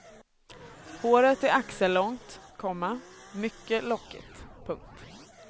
Håret är axellångt, komma mycket lockigt. punkt